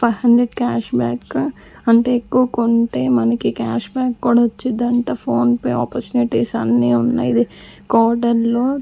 five hundred cash back గా అంటే ఎక్కువ కొంటే మనకి క్యాష్ బ్యాక్ కూడా వచ్చిదంట ఫోన్ పే ఆపర్చునిటీస్ అన్నీ ఉన్నయ్ ఇది కోడెన్లో--